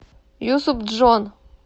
юсупджон